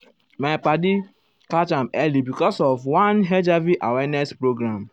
my[um]padi catch am early because of one hiv awareness program.